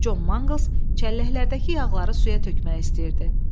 John Mangles çəlləklərdəki yağları suya tökmək istəyirdi.